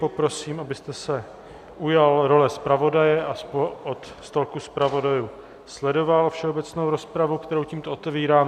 Poprosím, abyste se ujal role zpravodaje a od stolku zpravodajů sledoval všeobecnou rozpravu, kterou tímto otevírám.